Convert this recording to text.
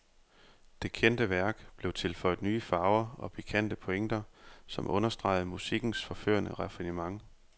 Det kendte værk blev tilføjet nye farver og pikante pointer, som understregede musikkens forførende raffinement.